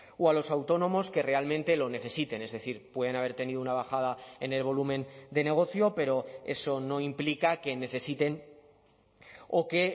o a los autónomos que realmente lo necesiten es decir pueden haber tenido una bajada en el volumen de negocio pero eso no implica que necesiten o que